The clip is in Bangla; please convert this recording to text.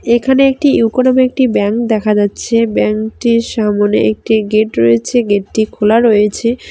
এখানে একটি ইউকো নামে একটি ব্যাংক দেখা যাচ্ছে ব্যাঙ্ক -টির সামোনে একটি গেট রয়েছে গেট -টি খোলা রয়েছে।